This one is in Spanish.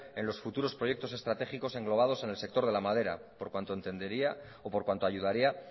en los futuros proyectos estratégicos englobados en el sector de la madera por cuanto ayudaría